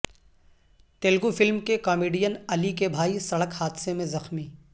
Telugu film کے comedian Ali کے بھائی سڑک حادثہ میں زخمی